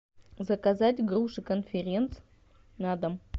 заказать груши конференц на дом